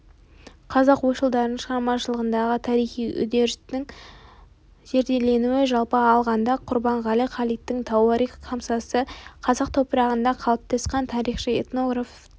қазақ ойшылдарының шығармашылығындағы тарихи үдерістің зерделенуі жалпы алғанда құрбанғали халидтің тауарих хамсасы қазақ топырағында қалыптасқан тарихшы этнограф діни